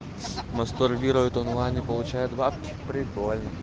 мастурбирует онлайн и получает бабки прикольно